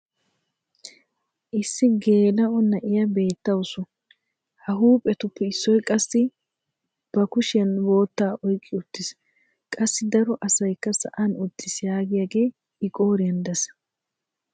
issi geela'o na'iya beetawusu. ha huuphetuppe issoy qassi ba kushiyan bootta oyqqi uttiis. qassi daro asaykka sa'an uttiis yaagiyagee i qooriyan des.